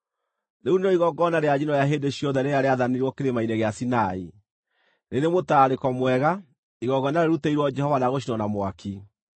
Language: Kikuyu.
Rĩu nĩrĩo igongona rĩa njino rĩa hĩndĩ ciothe rĩrĩa rĩaathanirwo Kĩrĩma-inĩ gĩa Sinai, rĩrĩ mũtararĩko mwega, igongona rĩrutĩirwo Jehova rĩa gũcinwo na mwaki.